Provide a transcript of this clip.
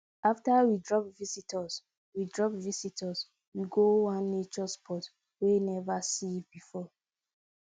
after we drop visitors we drop visitors we go one nature spot we never see before